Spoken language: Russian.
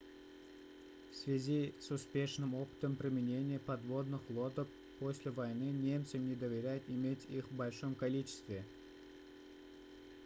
в связи с успешным опытом применения подводных лодок после войны немцам не доверяют иметь их в большом количестве